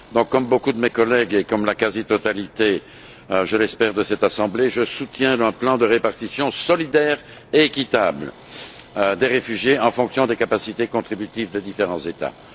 Comme beaucoup de mes collègues et comme la quasi totalité, je l'espère, de cette assemblée, je soutiens un plan de répartition solidaire et équitable des réfugiés en fonction des capacités contributives des différents États.